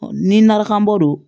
Ni nrakanbɔ don